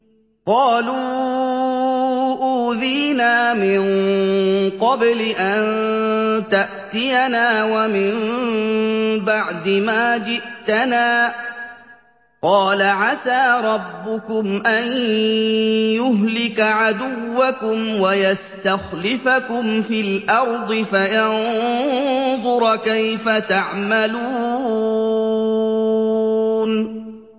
قَالُوا أُوذِينَا مِن قَبْلِ أَن تَأْتِيَنَا وَمِن بَعْدِ مَا جِئْتَنَا ۚ قَالَ عَسَىٰ رَبُّكُمْ أَن يُهْلِكَ عَدُوَّكُمْ وَيَسْتَخْلِفَكُمْ فِي الْأَرْضِ فَيَنظُرَ كَيْفَ تَعْمَلُونَ